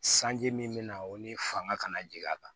Sanji min bɛ na o ni fanga kana jigin a kan